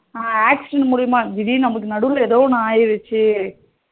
accident மூலியமா திடீர்னு நமக்கு நடுவுல ஏதோ ஒன்னு ஆகிடுச்சு